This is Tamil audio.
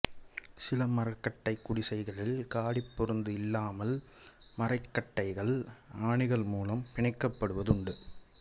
சில மரக்கட்டைக் குடிசைகளில் காடிப்பொருத்து இல்லாமல் மரக்கட்டைகள் ஆணிகள் மூலம் பிணைக்கப்படுவது உண்டு